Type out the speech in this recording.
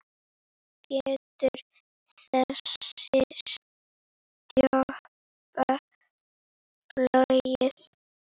Getur þessi sjoppa flogið?